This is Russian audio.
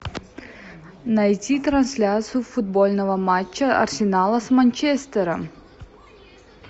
найти трансляцию футбольного матча арсенала с манчестером